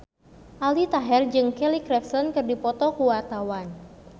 Aldi Taher jeung Kelly Clarkson keur dipoto ku wartawan